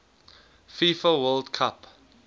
fifa world cup